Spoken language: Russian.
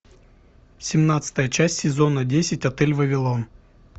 семнадцатая часть сезона десять отель вавилон